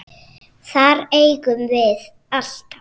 Þær eigum við alltaf.